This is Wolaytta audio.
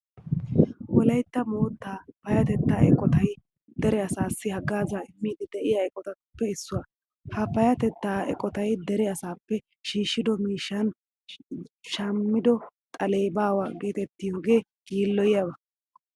Wolaytta moottaa payyatettaa eqotay dere asaassi haggaazaa immiiddi de'iya eqotatuppe issuwa. Ha payyatettaa eqotay dere asaappe shiishshido miishshan shammido xalee baawa geetettiyogee yiilloyiyaba.